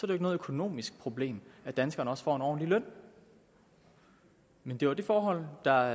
det ikke noget økonomisk problem at danskerne også får en ordentlig løn men det var det forhold der